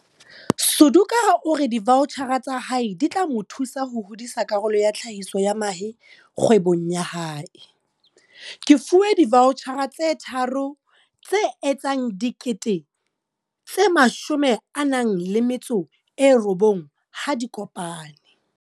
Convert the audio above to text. Suduka o re divaotjhara tsa hae di tla mo thusa ho hodisa karolo ya tlhahiso ya mahe kgwebong ya hae. Ke fuwe divaotjhara tse tharo tse etsang R19 000 ha di kopane.